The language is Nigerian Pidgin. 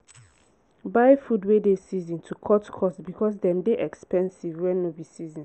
buy food wey dey season to cut cost because dem dey expensive when no be season